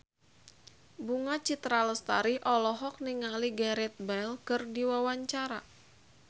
Bunga Citra Lestari olohok ningali Gareth Bale keur diwawancara